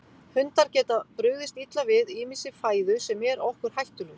Hundar geta brugðist illa við ýmissi fæðu sem er okkur hættulaus.